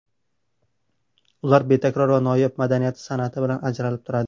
Ular betakror va noyob madaniyati, san’ati bilan ajratilib turadi.